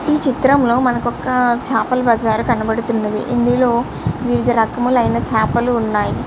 ఈ చిత్రంలో మనకొక చేపల బజార్ కనపడుతున్నది ఇందులో వివిధ రకములు ఐన చేపలు ఉన్నాయ్.